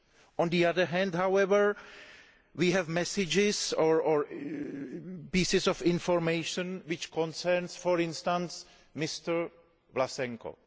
On the other hand, however, we have messages or pieces of information, which concern, for instance, Mr Vlasenko.